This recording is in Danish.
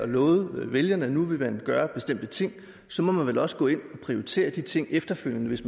lovet vælgerne at nu ville man gøre bestemte ting så må man vel også gå ind og prioritere de ting efterfølgende hvis